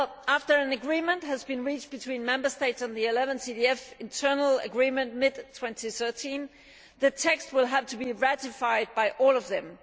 Well, after an agreement has been reached between Member States on the 11th EDF Internal Agreement mid 2013, the text will have to be ratified by all of them.